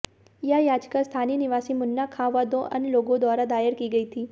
यह याचिका स्थानीय निवासी मुन्ना खां व दो अन्य लोगों द्वारा दायर की गई थी